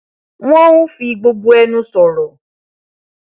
wọn n fi gbogbo ẹnu sọrọ